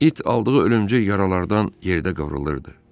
İt aldığı ölümcül yaralardan yerdə qıvrılırdı.